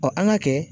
an ka kɛ